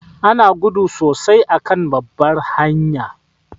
Ana gudu sosai a kan babbar hanya